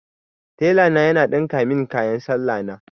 Telana ya ɗinka min kayan salla na.